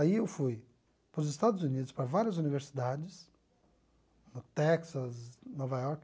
Aí eu fui para os Estados Unidos, para várias universidades, no Texas, Nova York,